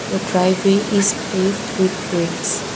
the drive way is paved with bricks.